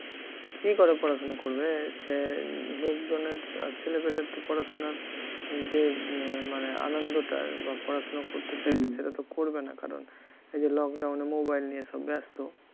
কী করে পড়াশোনা করবে? সে লোকজনের ছেলেপিলের তো পড়াশোনা যে এ~ মানে আনন্দটা বা পড়াশোনা করতে চাইত সেটা তো করবে না কারণ এই যে lockdown এ mobile নিয়ে সব ব্যস্ত